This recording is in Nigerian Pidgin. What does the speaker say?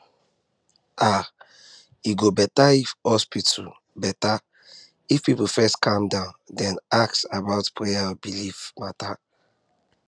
ah e go better if hospital better if hospital people first calm down then ask about prayer or belief matter